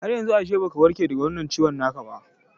Haryanzu ashe baka warke daga wannan ciwon kan ba